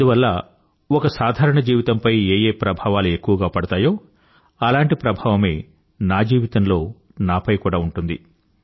అందువల్ల ఒక సాధారణ జీవితంపై ఏ ప్రభావాలు ఎక్కువగా పడతాయో అలాంటి ప్రభావమే నా జీవితంలో నాపై కూడా ఉంటుంది